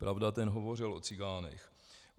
Pravda, ten hovořil o cikánech.